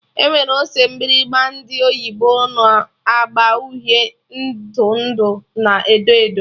Enwere ose mgbịrịgba ndị oyibo na agba uhie, ndụ ndụ na edo edo